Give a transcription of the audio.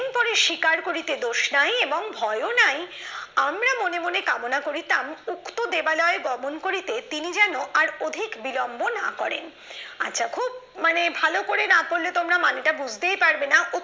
স্বীকার করিতে দোষ নাই এবং ভয়ও নাই আমরা মনে মনে কামনা করিতাম উত্তর দেবালয় গমন করিতে তিনি যেন আর অধিক বিলম্ব না করেন আচ্ছা খুব মানে ভালো করে না পড়লে তোমরা মানেটা বুঝতেই পারবে না